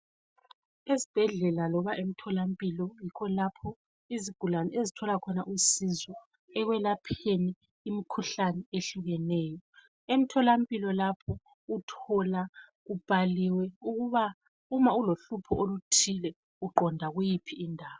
Ezibhedlela loba emtholampilo kulapho izigulane ezithola khona usizo ekwelapheni imikhuhlane eyehlukeneyo. Emtholampilo lapho uthola kubhaliwe ukuba uma ulohlupho oluthile uqonda kuyiphi indawo.